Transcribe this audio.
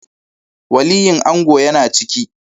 Waliyin ango ya na ciki